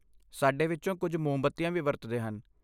ਸਾਡੇ ਵਿੱਚੋਂ ਕੁਝ ਮੋਮਬੱਤੀਆਂ ਵੀ ਵਰਤਦੇ ਹਨ।